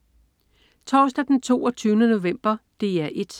Torsdag den 22. november - DR 1: